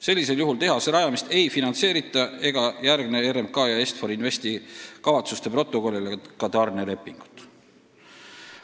Sellisel juhul tehase rajamist ei finantseerita ega järgne RMK ja Est-For Investi kavatsuste protokollile ka tarnelepingut.